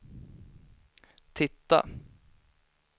titta